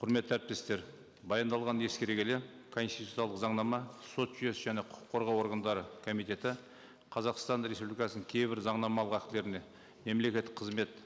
құрметті әріптестер баяндалғанды ескере келе конституциялық заңнама сот жүйесі және құқық қорғау органдары комитеті қазақстан республикасының кейбір заңнамалық актілеріне мемлекеттік қызмет